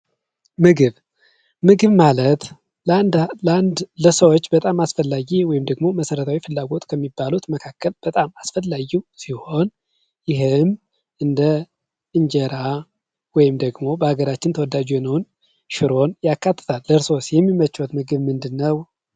ምግብ፦ ምግብ ማለት ለአንድ ለሰው ልጆች በጣም አስፈላጊ የሆነ መሰረታዊ ፍላጎት ከሚባሉት መካከል በጣም አስፈላጊ ሲሆን ይህም እንደ እንጀራ ወይም ደግሞ በሀገራችን ተወዳጅ የሆነውን እንደ ሽሮን ያካትታል። እርስዎስ የሚመቸዎት ምግብ ምንድን ነው?